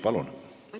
Palun!